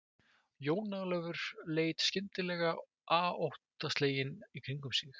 Jón Ólafur leit skyndileg aóttaslegin í kringum sig.